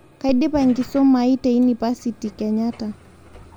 Kaidipa kisomoai teeinipasiti kenyatta